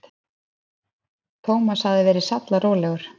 Thomas hafði verið sallarólegur.